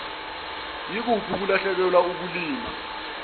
yikuphi ukulahlekelwa ukulimala